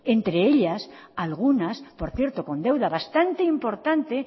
entre ellas algunas por cierto con deuda bastante importante